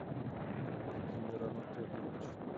владимир анатольевич